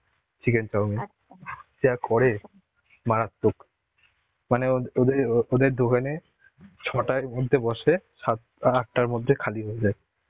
chicken chowmin. সেরা করে মারাত্মক. মানে ওদে~ ওদের দোকানে ছটার মধ্যে বসে সাত আটটার মধ্যে খালি হয়ে যায়.